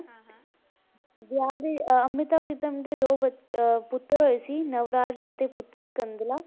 ਵਿਆਹ ਦੇ ਅਹ ਅੰਮ੍ਰਿਤਾ ਪ੍ਰੀਤਮ ਦੇ ਦੋ ਬੱਚ~ ਅਹ ਪੁੱਤਰ ਹੋਏ ਸੀ ਨਵਰਾਜ ਅਤੇ ਪੁੱਤਰੀ ਕੰਦਲਾ।